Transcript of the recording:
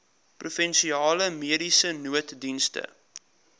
provinsiale mediese nooddienste